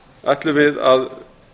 ætlum við að